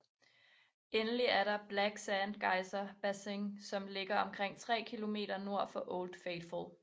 Endelig er der Black Sand Geyser Basin som ligger omkring 3 km nord for Old Faithful